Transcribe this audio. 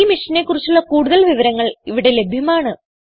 ഈ മിഷനെ കുറിച്ചുള്ള കുടുതൽ വിവരങ്ങൾ ഇവിടെ ലഭ്യമാണ്